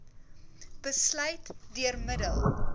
besluit deur middel